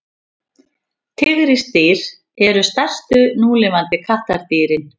tígrisdýr eru stærstu núlifandi kattardýrin